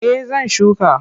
Eh zan shuka.